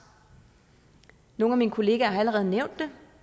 nogle af mine kollegaer har allerede nævnt det